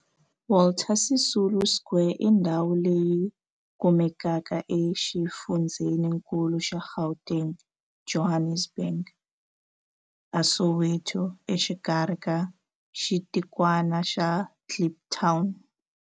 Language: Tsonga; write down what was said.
Walter Sisulu Square i ndhawu leyi kumekaka exifundzheninkulu xa Gauteng, Johannesburg, a Soweto, exikarhi ka xitikwana xa Kliptown.